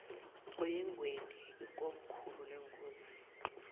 oyengweni ikomkhulu lenkosi